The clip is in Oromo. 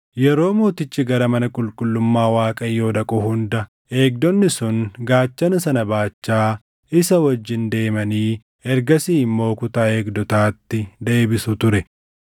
Yeroo mootichi gara mana qulqullummaa Waaqayyoo dhaqu hunda eegdonni sun gaachana sana baachaa isa wajjin deemanii ergasii immoo kutaa eegdotaatti deebisu ture.